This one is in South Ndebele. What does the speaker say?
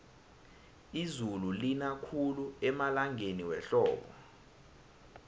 izulu lina khulu emalangeni wehlobo